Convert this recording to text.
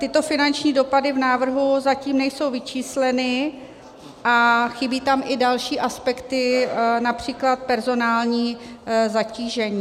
Tyto finanční dopady v návrhu zatím nejsou vyčísleny a chybí tam i další aspekty, například personální zatížení.